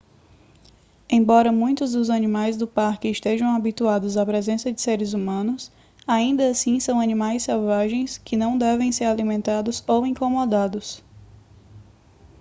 embora muitos dos animais do parque estejam habituados à presença de seres humanos ainda assim são animais selvagens que não devem ser alimentados ou incomodados